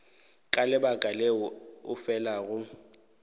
ka lebaka leo o felago